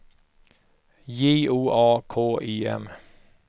J O A K I M